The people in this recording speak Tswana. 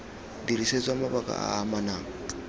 dirisetswa mabaka a a amanang